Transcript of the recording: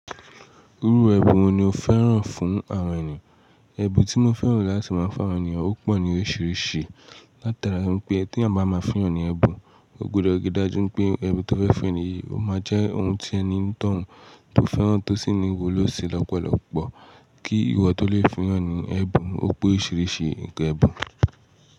Irú ẹbun wo ni o fẹ́ràn fún awon ẹniyan? Ẹbu tí mo fẹ́ràn láti máa ń fun awon ènìyàn ó pọ̀ ní oríṣiríṣi. Láta ara pé tí ẹ̀yin bá máa fun yàn ní ẹbun, o gbọdọ̀ ri dájú pé ẹbun tí o fẹ́ fún ènìyàn, ó máa jẹ́ ohun tí ẹni tọ̀ ọ́n tó fẹ́ràn tó sì ní wuló ṣi lọ́pọ̀lọpọ̀ kí ìwọ tó lè fun yàn ní ẹbun. Ó pe orìṣiríṣi ǹkan ẹbun.